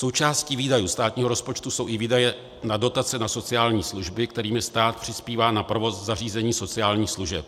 Součástí výdajů státního rozpočtu jsou i výdaje na dotace na sociální služby, kterými stát přispívá na provoz zařízení sociálních služeb.